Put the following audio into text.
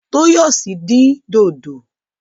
Toyosi dín dòdò.